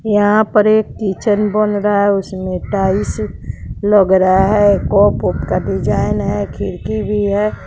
यहां पर एक किचन बन रहा है उसमें टाइल्स लग रहा है का डिजाइन है खिड़की भी है।